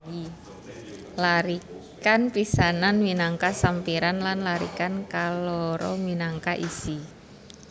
Larikan pisanan minangka sampiran lan larikan kaloro minangka isi